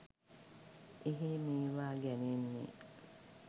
එහේ මේවා ගැනෙන්නේ